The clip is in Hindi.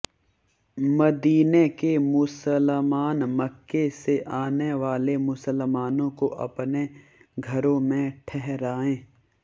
मदीने के मुसलमान मक्के से आने वाले मुसलमानों को अपने घरों में ठहराएं